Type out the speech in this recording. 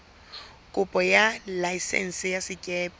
kopo ya laesense ya sekepe